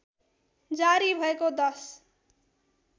जारी भएको १०